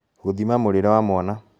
Gûthima mũrĩĩre wa mwana